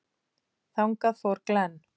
Þangað fór Glenn.